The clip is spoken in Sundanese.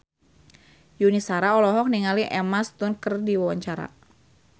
Yuni Shara olohok ningali Emma Stone keur diwawancara